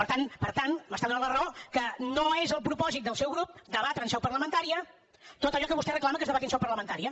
per tant per tant m’està donant la raó que no és el propòsit del seu grup debatre en seu parlamentària tot allò que vostè reclama que es debati en seu parlamentària